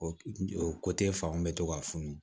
O o fan bɛ to ka funu